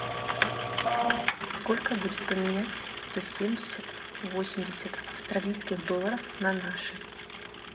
сколько будет поменять сто семьдесят восемьдесят австралийских доллара на наши